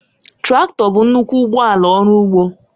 Traktọ bụ nnukwu ụgbọ ala ọrụ ugbo